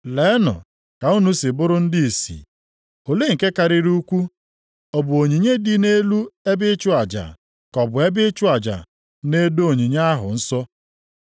Leenụ ka unu si bụrụ ndị ìsì! Olee nke karịrị ukwuu? Ọ bụ onyinye dị nʼelu ebe ịchụ aja ka ọ bụ ebe ịchụ aja na-edo onyinye ahụ nsọ?